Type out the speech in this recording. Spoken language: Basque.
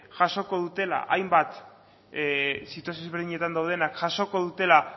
jasoko dutela hainbat situazio ezberdinetan daudenak jasoko dutela